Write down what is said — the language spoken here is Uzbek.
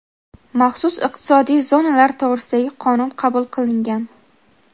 "Maxsus iqtisodiy zonalar to‘g‘risida"gi Qonun qabul qilingan.